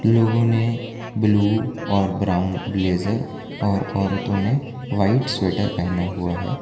लोगों ने ब्लू और ब्राउन ब्लेजर और औरतों ने व्हाइट स्वेटर पहना हुआ है।